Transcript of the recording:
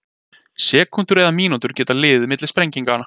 Sekúndur eða mínútur geta liðið milli sprenginga.